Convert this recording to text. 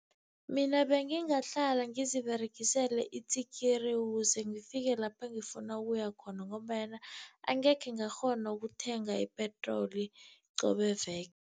Mina bengingahlala ngiziberegisele itsikiri, ukuze ngifike lapha ngifuna ukuya khona, ngombanyana angekhe ngakghona ukuthenga ipetroli qobe veke.